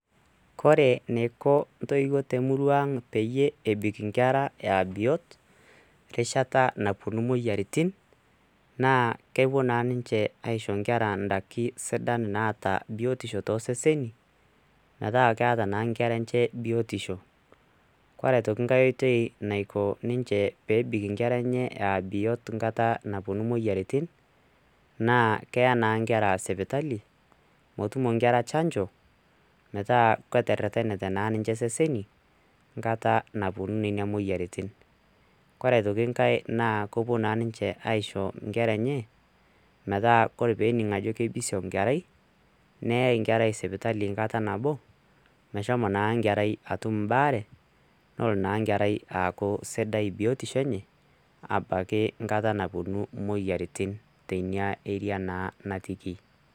Kore neiko ntoiwuo te murua ang peyie ebik inkera aa biot rishata naapuonu moyiaritin, naa kepuo naa ninche aisho nkera daki sidan naata biotisho too seseni, meeta keeta nkera enche biotisho, kore aitoki nkae oitei naiko ninche peebik nkera enche aa biot nkata naapuonu moyiaritin, naa keya naa nkera sipitali motumo nkera chanjo metaa keterenate naa ninche seseni kata naapuonu ninia moyiaritin, kore aitoki nkae naa kopuo naa ninche aisho nkera enye metaa ore peening ajo keibisiong nkerai neyae nkerai sipitali nkata nabo meshomo naa nkerai atum mbaare nolo naa nkerai aaku sidai biotisho enye, abaki nkata naapuonu moyiaritin teinia area naa naatiki.